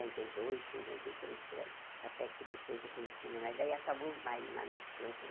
e dois cinquenta e três por aí Até que depois eu conheci o meu marido, daí acabou os bailes lá no Teuton.